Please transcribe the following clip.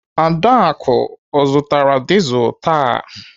Adaku ọ zụtara dizelu taa?